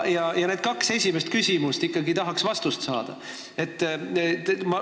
Eriti need kaks esimest küsimust – ikkagi tahaks neile vastust saada.